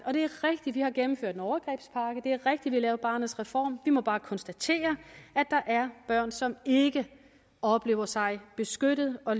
det vi har gennemført en overgrebspakke det er rigtigt vi har lavet barnets reform vi må bare konstatere at der er børn som ikke oplever sig beskyttet og